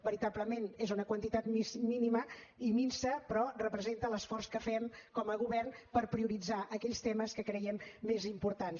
veritablement és una quantitat mínima i minsa però representa l’esforç que fem com a govern per prioritzar aquells temes que creiem més importants